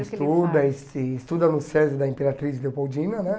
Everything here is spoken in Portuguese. Estuda, es estuda no SESI da Imperatriz Leopoldina, né?